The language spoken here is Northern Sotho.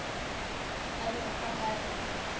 a bego a ka re